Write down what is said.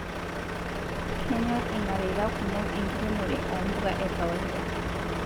kenyor ilmareta kumok enkiremore o mbuka e kawaida